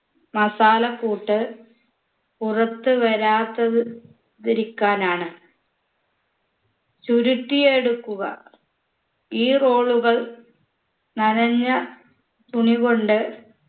masala ക്കൂട്ട് പുറത്ത് വരാത്തത് തിരിക്കാനാണ് ചുരുട്ടിയെടുക്കുക ഈ roll ഉകൾ നനഞ്ഞ തുണികൊണ്ട്